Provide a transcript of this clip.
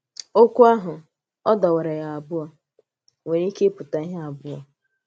Ọ́kwù àhụ̀ “ọ̀ dọ̀wàrà ya ábụọ̀” nwèrè ike ịpụ̀tà íhè ábụọ̀